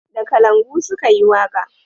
Da kalangu su ka yi waka